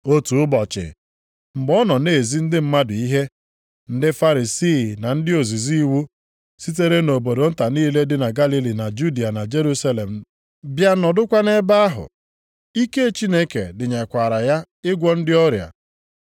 Otu ụbọchị, mgbe ọ nọ na-ezi ndị mmadụ ihe, ndị Farisii na ndị ozizi iwu (sitere nʼobodo nta niile dị na Galili na Judịa na Jerusalem bịa nọdụkwa ebe) ahụ. Ike Chineke dịnyekwaara ya ịgwọ ndị ọrịa.